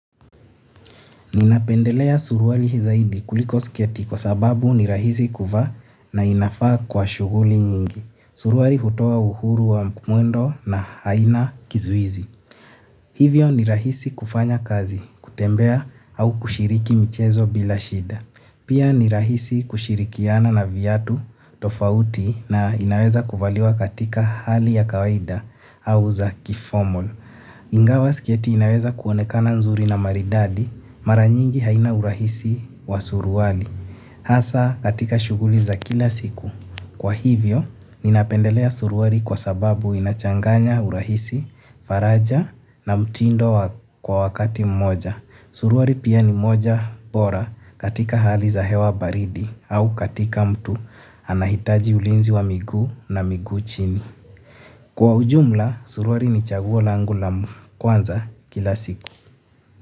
Ninapendelea suruali zaidi kuliko sketi kwa sababu ni rahisi kuvaa na inafaa kwa shughuli nyingi. Suruari hutoa uhuru wa mwendo na haina kizuizi. Hivyo ni rahisi kufanya kazi, kutembea au kushiriki michezo bila shida. Pia ni rahisi kushirikiana na viatu tofauti na inaweza kuvaliwa katika hali ya kawaida au za ki formal. Ingawa sketi inaweza kuonekana nzuri na maridadi mara nyingi haina urahisi wa suruali. Hasa katika shughuli za kila siku kwa hivyo, ninapendelea suruali kwa sababu inachanganya urahisi, faraja na mtindo kwa wakati mmoja. Suruari pia ni moja bora katika hali za hewa baridi au katika mtu anahitaji ulinzi wa miguu na miguu chini. Kwa ujumla, suruali ni chaguo langu la kwanza kila siku.